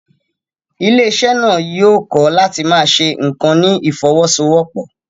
Ilé-iṣẹ́ náà yóò kọ́ láti máa ṣe nǹkan ní ìfọwọ́sowọ́pọ̀.